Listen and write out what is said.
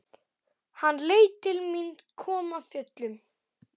Hann leit til mín, kom af fjöllum.